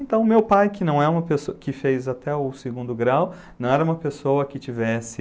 Então, o meu pai, que não é uma pessoa, que fez até o segundo grau, não era uma pessoa que tivesse...